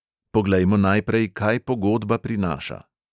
Poglejmo najprej, kaj pogodba prinaša.